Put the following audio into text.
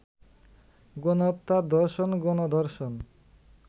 গণহত্যা, ধর্ষণ, গণ-ধর্ষণ